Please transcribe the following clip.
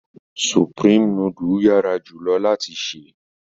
Sùprémé nùdù yara julọ lati se